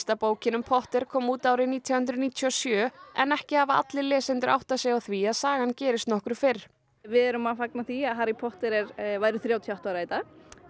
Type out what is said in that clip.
bókin um Potter kom út árið nítján hundruð níutíu og sjö en ekki hafa allir lesendur áttað sig á því að sagan gerist nokkru fyrr við erum að fagna því að Harry Potter væri þrjátíu og átta ára í dag